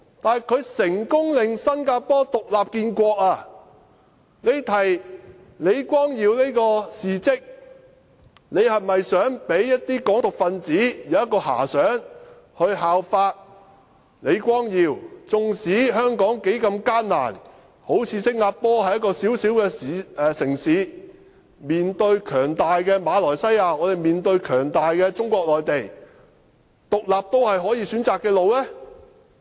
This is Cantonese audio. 但是，他成功令新加坡獨立建國，他提出李光耀先生的事跡，是否想讓一些"港獨"分子有所遐想，效法李光耀先生——縱使香港多麼艱難，正如新加坡般只是一個小小的城市，面對強大的馬來西亞，而香港面對強大的中國內地，獨立也是可選擇的道路？